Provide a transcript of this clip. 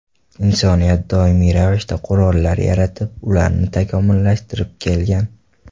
Insoniyat doimiy ravishda qurollar yaratib, ularni takomillashtirib kelgan.